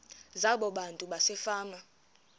zabo abantu basefama